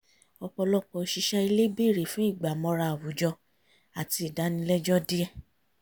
ọ̀pọ̀lọpọ̀ òṣìṣẹ́ ilé bèrè fún ìgbàmọ́ra àwùjọ àti ìdánilẹ́jọ́ díẹ̀